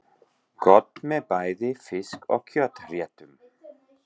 Gott með bæði fisk- og kjötréttum.